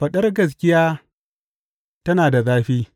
Faɗar gaskiya tana da zafi!